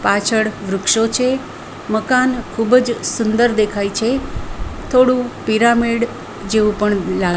પાછળ વૃક્ષો છે મકાન ખૂબ જ સુંદર દેખાય છે થોડું પિરામિડ જેવું પણ લા --